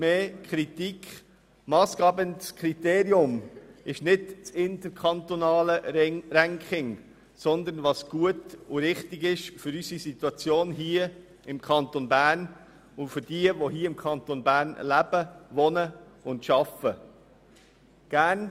Das massgebende Kriterium ist nicht das interkantonale Ranking, sondern das, was in unserer Situation für den Kanton Bern und für diejenigen, die in diesem Kanton leben, wohnen und arbeiten, gut und richtig ist.